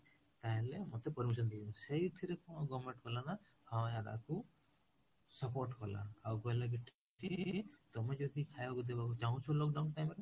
ତାହାଲେ ମତେ permission ଦିଅନ୍ତୁ ସେଇଥିରେ କଣ government କଲା ନା ହଁ ୟାକୁ support କଲା ଆଉ କହିଲା କି ତମେ ଯଦି ଖାଇବା ଦେବାକୁ ଚାହୁଁଛ lockdown time ରେ